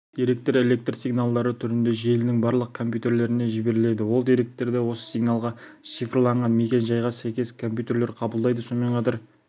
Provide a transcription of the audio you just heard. деректер электр сигналдары түрінде желінің барлық компьютерлеріне жіберіледі ол деректерді осы сигналға шифрланған мекен-жайға сәйкес компьютер қабылдайды сонымен қатар